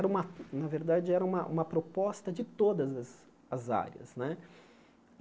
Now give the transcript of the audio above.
era uma na verdade, era uma uma proposta de todas as as áreas né.